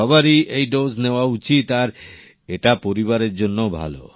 সবারই এই ডোজ নেওয়া উচিত আর এটা পরিবারের জন্যেও ভালো